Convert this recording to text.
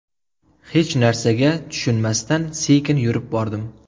Hech narsaga tushunmasdan sekin yurib bordim.